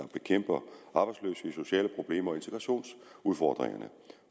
bekæmper arbejdsløshed sociale problemer og integrationsudfordringer